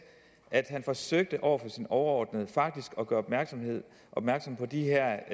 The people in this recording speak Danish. at han faktisk forsøgte over for sin overordnede at gøre opmærksom på de her